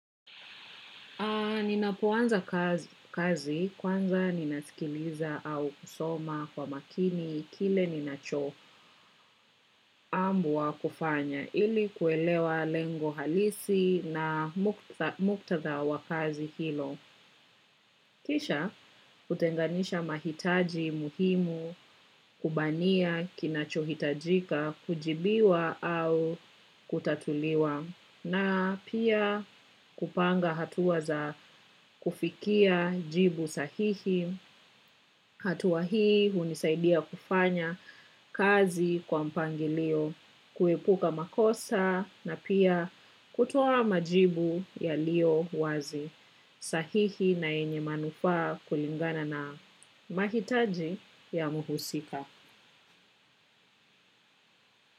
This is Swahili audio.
Ninapoanza kazi kwanza ninasikiliza au kusoma kwa makini kile ninacho ambuwa kufanya ili kuelewa lengo halisi na muktatha wa kazi hilo. Kisha kutenganisha mahitaji muhimu kubania kinachuhitajika kujibiwa au kutatuliwa na pia kupanga hatuwa za kufikia jibu sahihi. Hatua hii hunisaidia kufanya kazi kwa mpangilio, kuepuka makosa na pia kutoa majibu yalio wazi. Sahihi na yenye manufaa kulingana na mahitaji ya muhusika.